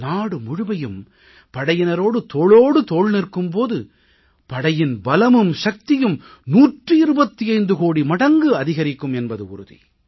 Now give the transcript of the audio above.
நாடு முழுவதுமே படையினரோடு தோளோடு தோள் நிற்கும் போது படையின் பலமும் சக்தியும் 125 கோடி மடங்கு அதிகரிக்கும் என்பது உறுதி